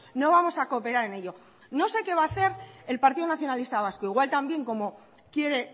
no vamos a cooperar en ello no sé qué va a hacer el partido nacionalista vasco igual también como quiere